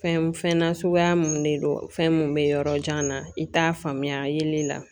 Fɛn fɛn nasuguya mun de don fɛn mun be yɔrɔ jan na i t'a faamuya yeli la